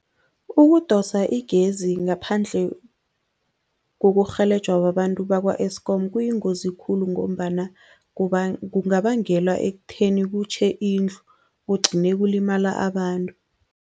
Ukudosa igezi ngaphandle kokurhelejwa babantu bakwa-Eskom kuyingozi khulu ngombana kungabangela ekutheni kutjhe indlu, kugcine kulimala abantu.